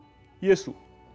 Jesú